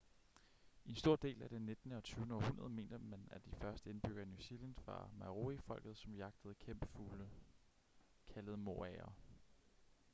i en stor del af det nittende og tyvende århundrede mente man at de første indbyggere i new zealand var maori-folket som jagtede kæmpefugle kaldet moaer